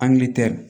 Angilitɛri